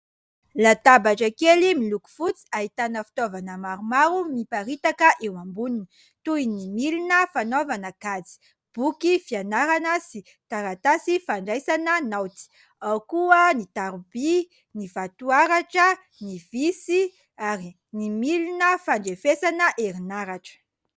Latabatra kely miloko fotsy ahitana fitaovana maromaro miparitaka eo amboniny, toy ny milina fanaovana kajy, boky fianarana sy taratasy fandraisana naoty. Ao koa ny taroby, ny vatoaratra, ny visy ary ny milina fandrefesana herinaratra.